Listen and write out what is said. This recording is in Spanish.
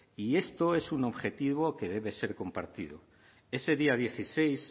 y esto es un objetivo que debe ser compartido ese día dieciséis